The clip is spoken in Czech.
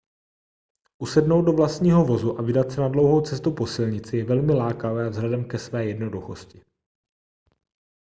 usednout do vlastního vozu a vydat se na dlouhou cestu po silnici je velmi lákavé vzhledem ke své jednoduchosti